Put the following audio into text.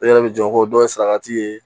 E yɛrɛ bɛ jɔ ko dɔ ye saraka ye